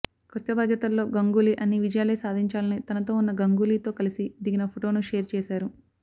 కొత్త బాధ్యతల్లో గంగూలీ అన్నీ విజయాలే సాధించాలని తనతో ఉన్న గంగూలీతో కలిసి దిగిన ఫొటోను షేర్ చేశారు